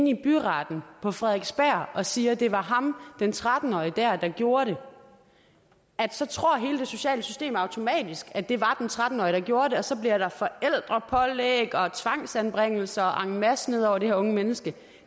i byretten på frederiksberg og siger det var ham den tretten årige der der gjorde det så tror hele det sociale system automatisk at det var den tretten årige der gjorde det og så ryger der forældrepålæg og tvangsanbringelser masse ned over det her unge menneske